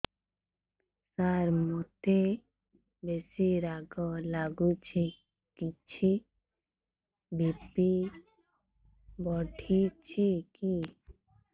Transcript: ସାର ମୋତେ ବେସି ରାଗ ଲାଗୁଚି କିଛି ବି.ପି ବଢ଼ିଚି କି